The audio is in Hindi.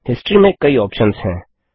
हिस्टोरी में कई ऑप्शंस हैं